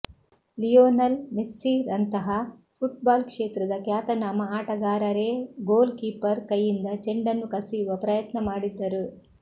Lionel ಮೆಸ್ಸಿರಂತಹ football ಕ್ಷೇತ್ರದ ಖ್ಯಾತನಾಮ ಆಟಗಾರರೇ ಗೋಲ್ ಕೀಪರ್ ಕೈಯಿಂದ ಚೆಂಡನ್ನು ಕಸಿಯುವ ಪ್ರಯತ್ನ ಮಾಡಿದ್ದರು